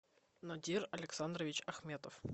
надир александрович ахметов